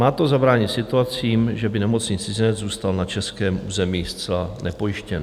Má to zabránit situacím, že by nemocný cizinec zůstal na českém území zcela nepojištěn.